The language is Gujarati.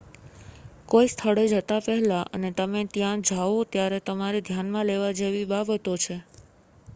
કોઈ સ્થળે જતા પહેલાં અને તમે ત્યાં જાઓ ત્યારે તમારે ધ્યાનમાં લેવા જેવી ઘણી બાબતો છે